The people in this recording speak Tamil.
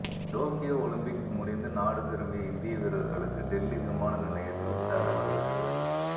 டோக்கியோ ஒலிம்பிக்ஸ் முடிந்து நாடு திரும்பிய இந்திய வீரர்களுக்கு டெல்லி விமான நிலையத்தில் உற்சாக வரவேற்பு